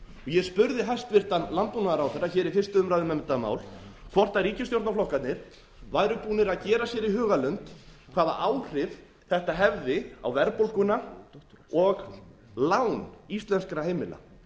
ég spurði hæstvirtur landbúnaðarráðherra hér í fyrstu umræðu um þetta mál hvort ríkisstjórnarflokkarnir væru búnir að gera sér í hugarlund hvaða áhrif þetta hefði á verðbólguna og lán íslenskra heimila ég